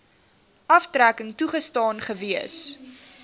aftrekking toegestaan gewees